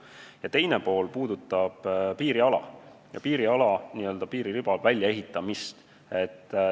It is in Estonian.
Ja teine pool puudutab piiriala, selle piiririba väljaehitamist.